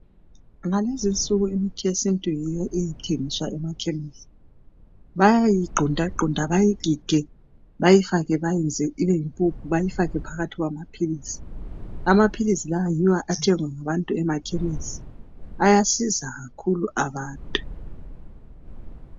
Ngalezinsuku imithi yesintu yiyo ethengiswa emakhemisi. Bayayigqundagqunda bayigige bayifake bayenze ibeyimpuphu bayifake phakathi kwamaphilisi. Amaphilisi lawa yiwo athengwa ngabantu emakhemisi. Ayasiza kakhulu abantu.